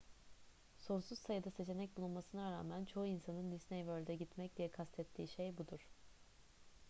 sonsuz sayıda seçenek bulunmasına rağmen çoğu insanın disney world'e gitmek diye kastettiği şey budur